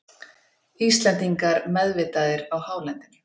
Íslendingar meðvitaðir á hálendinu